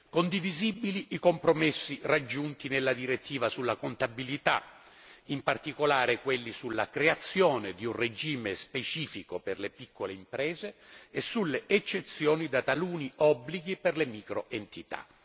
Condivisibili i compromessi raggiunti nella direttiva sulla contabilità, in particolare quelli sulla creazione di un regime specifico per le piccole imprese e sulle eccezioni da taluni obblighi per le micro entità.